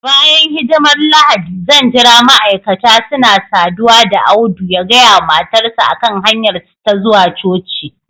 bayan hidimar Lahadi zan jira ma'aikata suna saduwa da Audu ya gaya wa matarsa ​​a kan hanyarsu ta zuwa coci